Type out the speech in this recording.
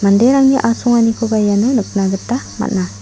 asonganikoba iano nikna gita man·a.